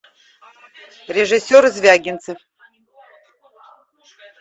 режиссер звягинцев